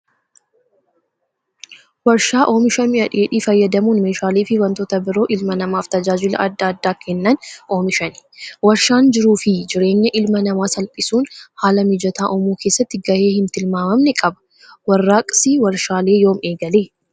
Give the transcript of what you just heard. Warshaa oomisha mi'a dheedhii fayyadamuun meeshaalee fi wantoota biroo ilma namaaf tajaajila adda addaa kennan oomishan. Warshaan jiruuf fi jireenya ilma namaa salphisuun haala mijataa uumuu keessatti gahee hin tilmaamamne qaba. Warraaqsi warshaalee yoom eegale?